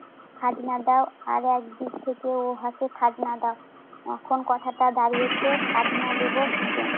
খাজনা দাও, আরেকদিক থেকে ও হাসে খাজনা দাও। এখন কথাটা দাঁড়িয়েছে, খাজনা দেবো কিসে?